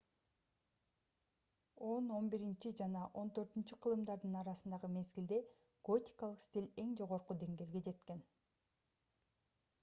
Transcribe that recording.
10-11 жана 14-кылымдардын арасындагы мезгилде готикалык стиль эң жогорку деңгээлге жеткен